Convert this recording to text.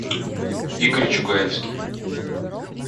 игорь чугаевский